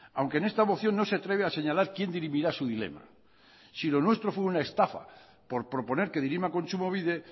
aunque en esta moción no se atreve a señalar quién dirimirá su dilema si lo nuestro fue una estafa por proponer que dirima kontsumobide